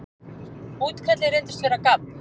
Útkallið reyndist vera gabb.